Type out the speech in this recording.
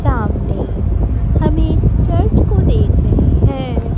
सामने हम एक चर्च को देख रहे है।